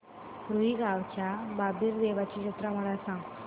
रुई गावच्या बाबीर देवाची जत्रा मला सांग